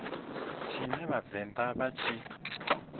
tshine vha vhavenḓa vha tshi